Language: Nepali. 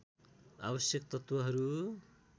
आवश्यक तत्त्वहरू